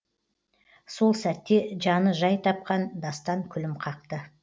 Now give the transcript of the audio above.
сол сәтте жаны жай тапқан дастан күлім қақты